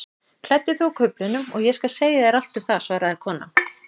Klæddu þig úr kuflinum og ég skal segja þér allt um það svaraði konan.